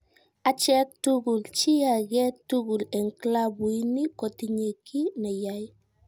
Acheek tugul, chi age tugul en'g klabuini kotinye ki ne yae